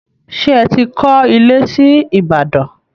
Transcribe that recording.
Ṣé ẹ ti kọ́ ilé sí Ìbàdàn